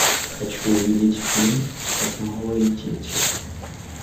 хочу увидеть фильм как малые дети